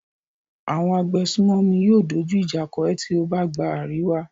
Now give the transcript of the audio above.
Àwọn agbésùnmòmí yóò dójú ìjà kọ ẹ tí ó bá gba àríwá.